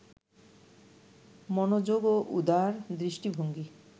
মনোযোগ ও উদার দৃষ্টিভঙ্গি